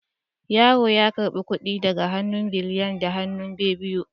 Yero ya karbi kudin daga hannun Biliyan da hannu bibbiyu